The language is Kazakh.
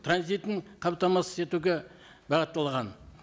транзитін қамтамасыз етуге бағытталған